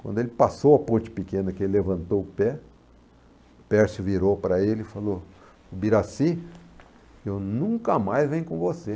Quando ele passou a ponte pequena que ele levantou o pé, o Pércio virou para ele e falou, o Birassi, eu nunca mais venho com você.